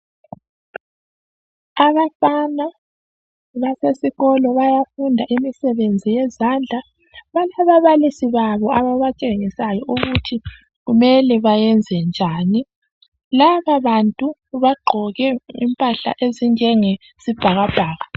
Abafana basesikolo bayafunda imisebenzi yezandla balababalisi babo ababatshengisayo ukuthi kumele bayenze njani. Laba bantu bagqoke impahla ezinjengesibhakabhaka.